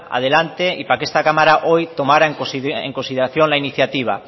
adelante y para que esta cámara hoy tomara en consideración la iniciativa